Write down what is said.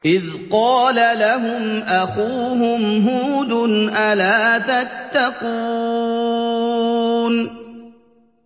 إِذْ قَالَ لَهُمْ أَخُوهُمْ هُودٌ أَلَا تَتَّقُونَ